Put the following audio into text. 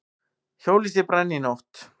Hjólhýsi brann í nótt